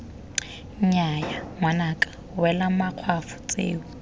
nnyaya ngwanaka wela makgwafo tseo